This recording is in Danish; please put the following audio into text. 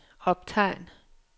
optegn